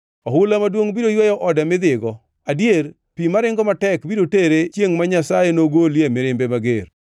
Ohula maduongʼ biro yweyo ode mi dhigo, adier, pi maringo matek biro tere chiengʼ ma Nyasaye noolie mirimbe mager.